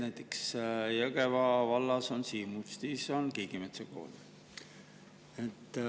Näiteks Jõgeva vallas Siimustis on Kiigemetsa Kool.